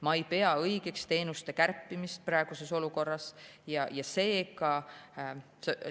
Ma ei pea praeguses olukorras õigeks teenuste kärpimist.